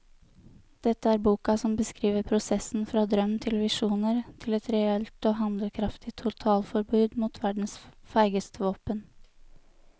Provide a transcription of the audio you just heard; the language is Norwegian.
Dette er boka som beskriver prosessen fra drøm til visjoner til et reelt og handlekraftig totalforbud mot verdens feigeste våpen.